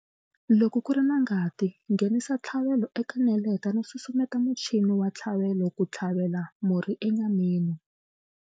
Loko ku ri na ngati, nghenisa ntshlavelo eka neleta no susumeta muchini wa ntshlavelo ku tlhavela murhi enyameni.